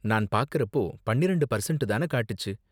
நான் பாக்கறப்போ பன்னிரெண்டு பர்செண்ட்டு தான காட்டுச்சு.